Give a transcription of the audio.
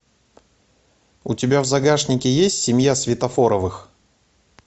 у тебя в загашнике есть семья светофоровых